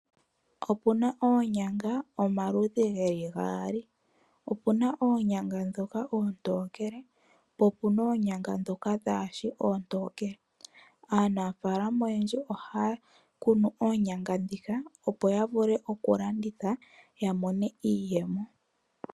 Opuna oonyanga omaludhi geli gaali. Opuna oonyanga ndhoka oontokele, po opuna oonyanga ndhoka dhaashi oontokele. Aanafaalama oyendji ohaya kunu oonyanga ndhika, opo ya vule oku landitha, ya mone iiyemo.